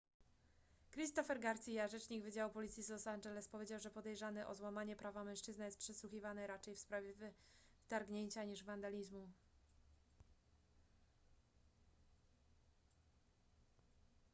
christopher garcia rzecznik wydziału policji z los angeles powiedział że podejrzany o złamanie prawa mężczyzna jest przesłuchiwany raczej w sprawie wtargnięcia niż wandalizmu